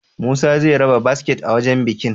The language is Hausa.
Musa zai raba biskit a wajan bikin?